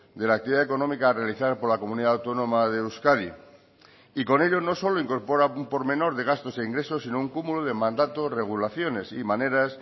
de la actividad económica realizada por la comunidad autónoma de euskadi y con ello no solo incorpora un por menor de gastos e ingresos sino un cúmulo de mandatos regulaciones y maneras